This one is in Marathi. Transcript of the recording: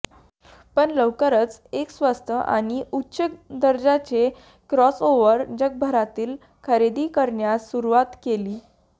पण लवकरच एक स्वस्त आणि उच्च दर्जाचे क्रॉसओवर जगभरातील खरेदी करण्यास सुरुवात केली